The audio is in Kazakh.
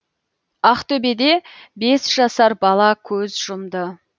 ақтөбеде бес жасар бала көз жұмды